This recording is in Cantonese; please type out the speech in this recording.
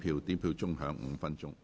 表決鐘會響5分鐘。